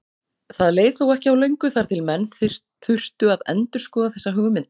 Það leið þó ekki á löngu þar til menn þurftu að endurskoða þessa hugmynd.